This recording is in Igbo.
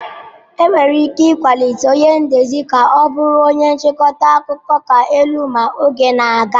Enwere ike ịkwalite onye ndezi ka ọ bụrụ onye nchịkọta akụkọ ka elu ma oge na-aga.